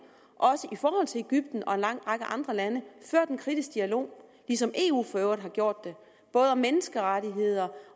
også i egypten og en lang række andre lande ført en kritisk dialog ligesom eu for øvrigt har gjort det både om menneskerettigheder